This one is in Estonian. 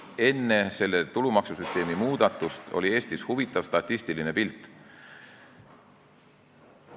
Enne seda tulumaksusüsteemi muudatust oli Eestis huvitav statistiline pilt.